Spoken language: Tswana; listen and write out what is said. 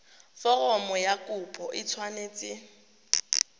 foromo ya kopo e tshwanetse